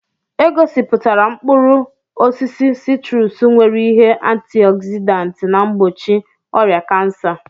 E gosiputara mkpụrụ osisi siitrusu nwere ihe antịogzịdaantị na mgbochi ọrịa kansa.